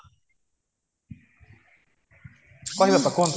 କୁହନ୍ତୁ ଅପା କୁହନ୍ତୁ